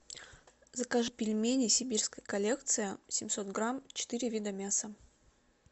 закажи пельмени сибирская коллекция семьсот грамм четыре вида мяса